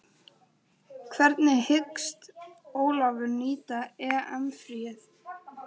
Hvernig hyggst Ólafur nýta EM fríið?